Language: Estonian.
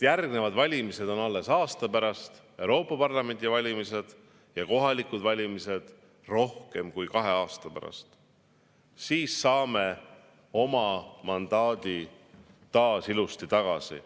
Järgmised valimised on alles aasta pärast – Euroopa Parlamendi valimised – ja kohalikud valimised rohkem kui kahe aasta pärast – siis saame oma mandaadi taas ilusti tagasi.